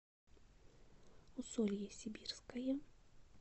усолье сибирское